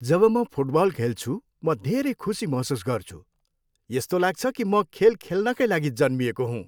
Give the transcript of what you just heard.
जब म फुटबल खेल्छु, म धेरै खुसी महसुस गर्छु। यस्तो लाग्छ कि म खेल खेल्नकै लागि जन्मिएको हुँ।